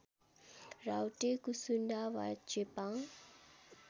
राउटे कुसुन्डा वा चेपाङ